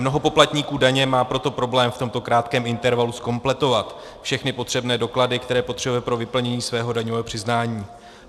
Mnoho poplatníků daně má proto problém v tomto krátkém intervalu zkompletovat všechny potřebné doklady, které potřebuje pro vyplnění svého daňového přiznání.